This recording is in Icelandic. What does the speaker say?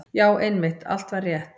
Já, einmitt, allt var rétt.